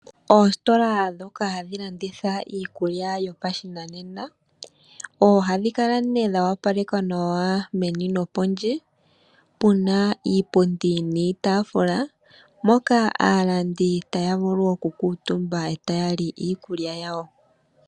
Oositola hadhi landitha iikulya yopashinanena ohadhi kala dha opalekwa nawa meni nokondje puna iipundi niitaafula moka aalandi taya vulu oku kuutumba nokulya.